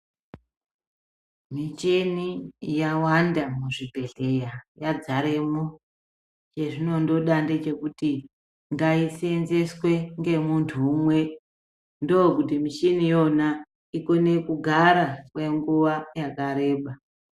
Michhini yawanda muzvibhedhleya, yadzaremwo ,chezvinondoda ngechekuti ngaiseenzeswe ngemunthu umwe, ndokuti muchhini ,iyona ikone kugara kwenguwa yakareba.